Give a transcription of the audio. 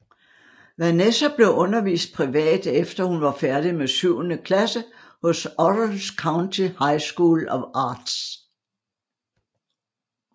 Vanessa blev undervist privat efter hun var færdig med syvende klasse hos Orange County High School of Arts